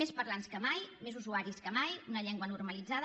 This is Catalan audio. més parlants que mai més usuaris que mai una llengua normalitzada